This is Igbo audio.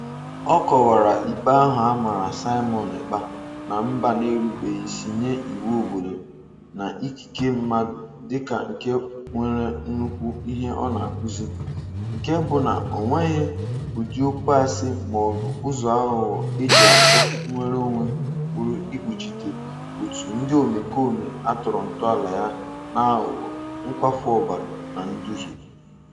Ọ kọwara ikpe ahụ a mara Simon Ekpa na mba na-erubeisi nye iwu obodo na ikike mmadụ dịka nke nwere nnukwu ihe ọ na-akụzi, nke bụ na o nweghị ụdị okwu asị maọbụ ụzọ aghụghọ e ji achọ "nnwereonwe" pụrụ ikpuchite òtù ndị omekome a tọrọ ntọala ya n'aghụghọ, nkwafu ọbara na nduhie.